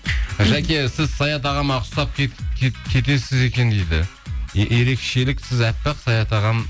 жаке сіз саят ағама ұқсап кетесіз екен дейді ерекшелік сіз аппақ саят ағам